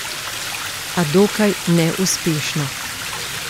A dokaj neuspešno.